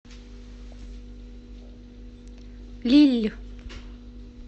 лилль